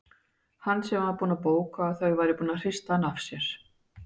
Hann sem var búinn að bóka að þau væru búin að hrista hann af sér!